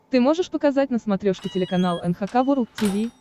ты можешь показать на смотрешке телеканал эн эйч кей волд ти ви